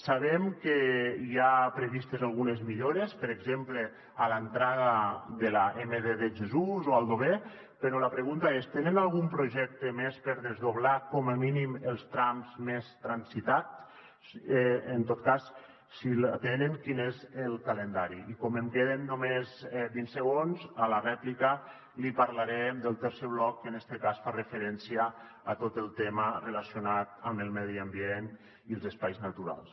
sabem que hi ha previstes algunes millores per exemple a l’entrada de l’emd de jesús o a aldover però la pregunta és tenen algun projecte més per desdoblar com a mínim els trams més transitats en tot cas si el tenen quin és el calendari i com em queden només vint segons a la rèplica li parlaré del tercer bloc que en este cas fa referència a tot el tema relacionat amb el medi ambient i els espais naturals